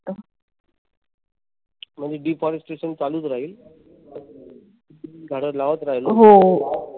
म्हणजे deforestation चालूच राहिलं. झाडं लावत राहिलं पाहिजे.